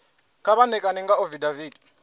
kha vha ṋekane nga afidaviti